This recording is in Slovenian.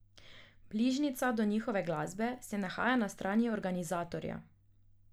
Bližnjica do njihove glasbe se nahaja na strani organizatorja.